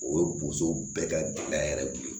O ye bosow bɛɛ ka gɛlɛya yɛrɛ de ye